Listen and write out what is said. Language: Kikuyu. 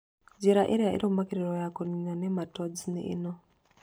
Njĩra ĩrĩa ĩrũmagĩrĩrio ya kũniina nematodes nĩ ĩno